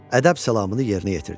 Ədəb salamını yerinə yetirdi.